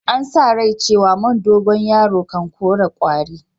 An sa rai cewa man dogoyaro kan kore kwari.